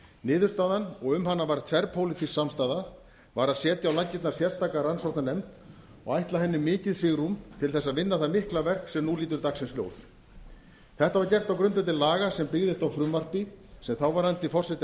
niðurstaðan og um hana var þverpólitísk samstaða var að setja á laggirnar sérstaka rannsóknarnefnd og ætla henni mikið svigrúm til að vinna það mikla verk sem nú lítur dagsins ljós þetta var gert á grundvelli laga sem byggðist á frumvarpi sem þáverandi forseti